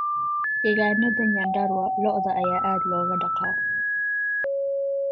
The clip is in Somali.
Degaanada Nyandarua, lo'da ayaa aad looga dhaqdaa.